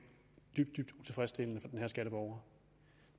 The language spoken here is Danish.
dybt dybt utilfredsstillende for den her skatteborger